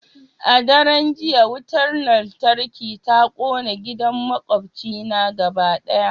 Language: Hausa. A daren jiya wutar lantarki ta kona gidan makwabcina gaba daya